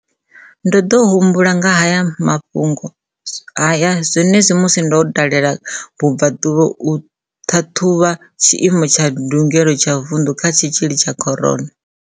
Ndo ḓo humbula nga ha mafhungo haya zwenezwino musi ndo dalela Kapa Vhubvaḓuvha u ṱhaṱhuvha tshiimo tsha ndu-gelo tsha vundu kha tshitzhili tsha corona.